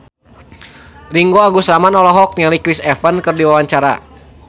Ringgo Agus Rahman olohok ningali Chris Evans keur diwawancara